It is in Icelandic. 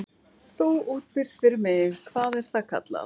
Þú útbýrð fyrir mig- hvað er það kallað?